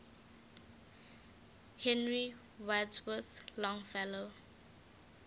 henry wadsworth longfellow